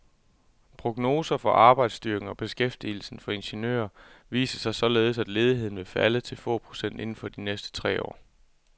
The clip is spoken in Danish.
Prognoser for arbejdsstyrken og beskæftigelsen for ingeniører viser således, at ledigheden vil falde til få procent inden for de næste tre år.